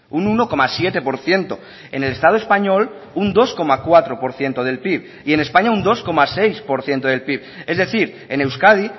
un uno coma siete por ciento en el estado español un dos coma cuatro por ciento del pib y en españa un dos coma seis por ciento del pib es decir en euskadi